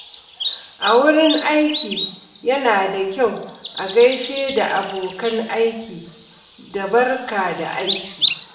A wurin aiki, yana da kyau a gaishe da abokan aiki da “Barka da aiki."